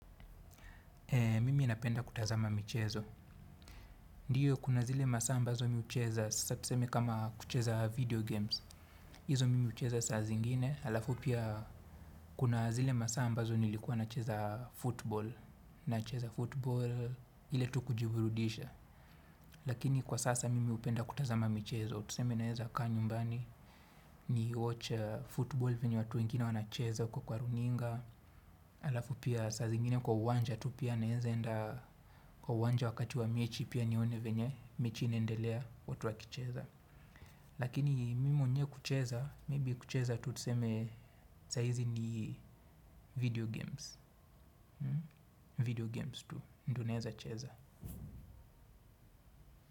Mimi napenda kutazama michezo. Ndiyo kuna zile masaa ambazo mi hucheza, sasa tuseme kama kucheza video games. Hizo mimi hucheza saa zingine, halafu pia kuna zile masaa ambazo nilikuwa nacheza football. Nacheza football, ile tu kujiburudisha. Lakini kwa sasa mimi upenda kutazama michezo. Tuseme naeza kaa nyumbani, ni watch football venye watu wengine wanacheza huko kwa runinga. Halafu pia saa zingine kwa uwanja tu pia naeza enda kwa uwanja wakati wa mechi pia nione venye mechi inaendelea watu wakicheza lakini mi mwenyewe kucheza maybe kucheza tu tuseme sahizi ni video games video games tu ndo naeza cheza.